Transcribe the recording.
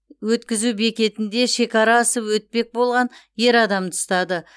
өткізу бекетінде шекара асып өтпек болған ер адамды ұстады